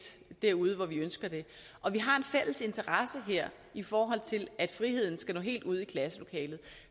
derude hvor vi ønsker det og vi har en fælles interesse her i forhold til at friheden skal nå helt ud i klasselokalet